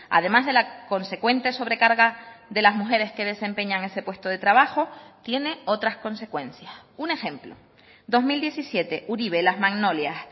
además de la consecuente sobrecarga de las mujeres que desempeñan ese puesto de trabajo tiene otras consecuencias un ejemplo dos mil diecisiete uribe las magnolias